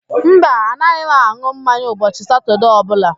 Mba, anaghị m an̄ụ mmanya ụbọchị Satọde ọbụla